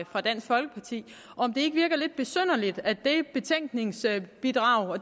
fra dansk folkeparti om det ikke virker lidt besynderligt at i